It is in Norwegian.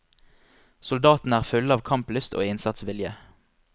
Soldatene er fulle av kamplyst og innsatsvilje.